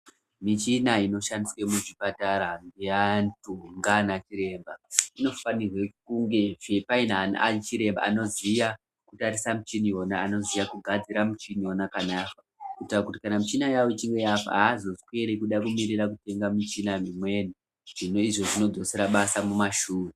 Michina inoshandiswe muzvipatara ngeantu ngana chiremba. Inofanirwe kunge paine vanachiremba anoziya kutatisa muchini vona anoziyakugadzira muchini vona kana vafa. Kuitira kuti michina yavo ichinge yafa hazosweri kuda kutenga michina mimweni zvona izvo zvinodzosera basa mumashure.